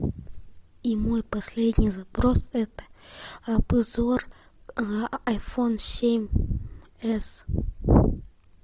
и мой последний запрос это обзор айфон семь с